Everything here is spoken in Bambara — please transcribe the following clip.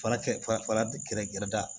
Fara kɛ fara gɛrɛ gɛrɛda